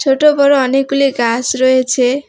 ছোটো বড়ো অনেকগুলি গাস রয়েছে।